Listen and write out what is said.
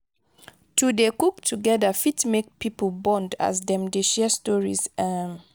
to dey cook together fit make pipo bond as dem dey share stories. um